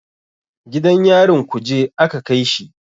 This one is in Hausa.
Gidan yarin kuje aka kaishi.